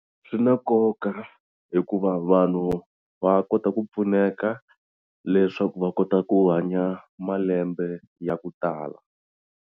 Swi na nkoka hikuva vanhu va kota ku pfuneka leswaku va kota ku hanya malembe ya ku tala.